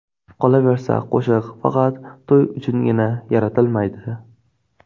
Qolaversa, qo‘shiq faqat to‘y uchungina yaratilmaydi.